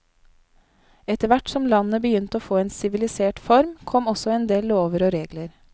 Etterhvert som landet begynte å få en sivilisert form, kom også en del lover og regler.